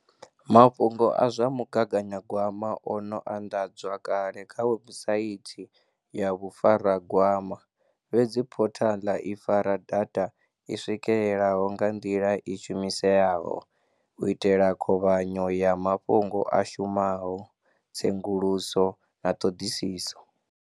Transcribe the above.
Mafhungo a zwa mu gaganyagwama o no anḓadzwa kale kha webusaithi ya Vhufaragwama, fhedzi phothaḽa i fara data i swikeleleaho nga nḓila i shumiseaho, u itela khovhanyo ya mafhungo a shumaho, tsenguluso na ṱhoḓisiso.